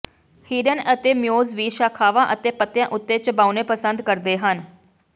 ਹਿਰਣ ਅਤੇ ਮੇਓਜ਼ ਵੀ ਸ਼ਾਖਾਵਾਂ ਅਤੇ ਪੱਤਿਆਂ ਉੱਤੇ ਚਬਾਉਣੇ ਪਸੰਦ ਕਰਦੇ ਹਨ